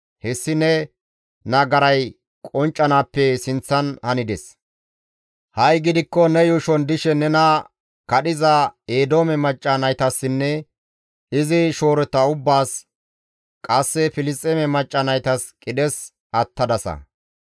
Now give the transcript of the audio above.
Hessi ne nagaray qonccanaappe sinththan hanides; ha7i gidikko ne yuushon dishe nena kadhiza Eedoome macca naytassinne izi shoorota ubbaas, qasse Filisxeeme macca naytas qidhes attadasa.